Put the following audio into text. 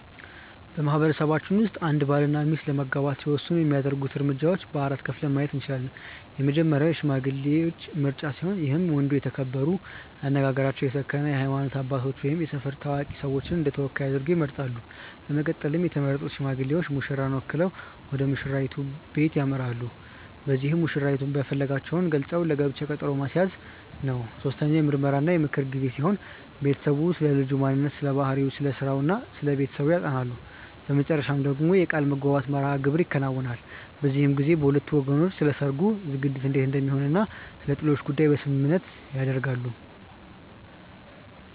በማህበረሰባችን ውስጥ አንድ ባል እና ሚስት ለመጋባት ሲወስኑ የሚያደርጉት እርምጃዎች በ4 ከፍለን ማየት እንችላለን። የመጀመሪያው የሽማግሌዎች ምርጫ ሲሆን ይህም ወንዱ የተከበሩ፣ አነጋገራቸው የሰከነ የሃይማኖት አባቶች ወይም የሰፈር ታዋቂ ሰዎችን እንደተወካይ አድርገው ይመርጣሉ። በመቀጠልም የተመረጡት ሽማግሌዎች ሙሽራን ወክለው ወደሙሽራይቱ በለት ያመራሉ። በዚህም መሽራይቱን መፈለጋቸውን ገልፀው ለጋብቻው ቀጠሮ ማስያዝ ነው። ሶስተኛው የምርመራ እና የምክር ጊዜ ሲሆን ቤተሰቡ ስለልጁ ማንነት ስለባህሪው፣ ስለስራው እና ስለቤተሰቡ ያጠናሉ። በመጨረሻ ደግሞ የቃልምግባት መርሐግብር ይከናወናል። በዚህም ጊዜ በሁለቱ ወገን ስለሰርጉ ዝግጅት እንዴት እንደሚሆን እና ስለጥሎሽ ጉዳይ ስምምነት ይደረጋል።